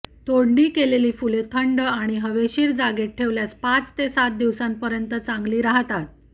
तोडणी केलेली फुले थंड आणि हवेशीर जागेत ठेवल्यास पाच ते सात दिवसांपर्यंत चांगली राहतात